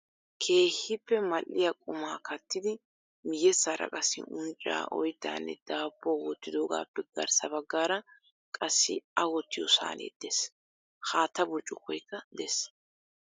Keehippe mal"iyaa qumaa kattidi miyyessaara qassi uncca, oyttanne daabbuwaa wottidoogappe garssa baggaara qassi a wottiyo saane de'ees. Haatta burccukoykka de'ees.